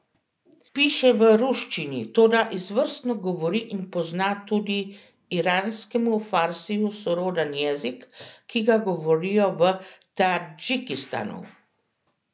Piše v ruščini, toda izvrstno govori in pozna tudi iranskemu farsiju soroden jezik, ki ga govorijo v Tadžikistanu.